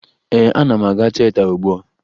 Ee, ana m aga tieta ugbua